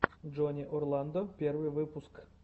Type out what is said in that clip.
джонни орландо первый выпуск